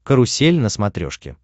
карусель на смотрешке